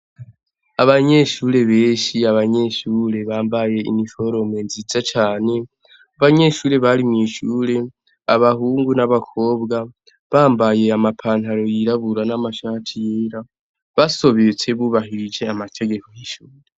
Abanyeshure beshi abanyeshure bambaye iniforomo nziza cane abanyeshure bari mw'ishure abahungu n'abakobwa bambaye amapantaro yirabura n'amashati yera basobetse bubahirije amategeko y'ishure.